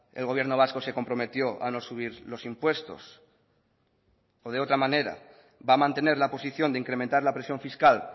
el gobierno vasco se comprometió a no subir los impuestos o de otra manera va a mantener la posición de incrementar la presión fiscal